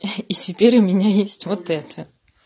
и теперь у меня есть вот это